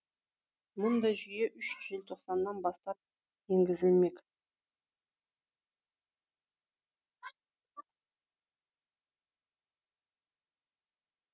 мұндай жүйе үш желтоқсаннан бастап енгізілмек